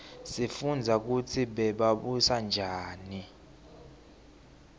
sifundza kutsi bebabusa njani